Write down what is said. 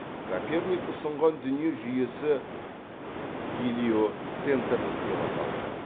коперник ұсынған дүние жүйесі гелиоцентрлік деп аталды